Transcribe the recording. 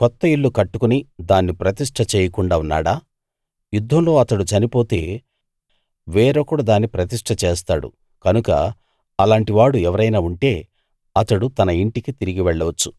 కొత్త ఇల్లు కట్టుకుని దాన్ని ప్రతిష్ట చేయకుండా ఉన్నాడా యుద్ధంలో అతడు చనిపోతే వేరొకడు దాన్ని ప్రతిష్ట చేస్తాడు కనుక అలాంటివాడు ఎవరైనా ఉంటే అతడు తన ఇంటికి తిరిగి వెళ్ళొచ్చు